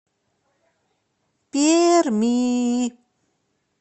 перми